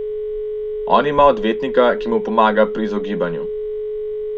On ima odvetnika, ki mu pomaga pri izogibanju.